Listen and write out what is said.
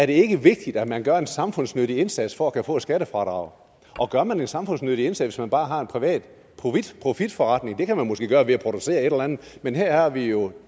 det ikke er vigtigt at man gør en samfundsnyttig indsats for at kunne få et skattefradrag og gør man en samfundsnyttig indsats hvis man bare har en privat profitforretning det kan man måske gøre ved at producere et eller andet men her har vi jo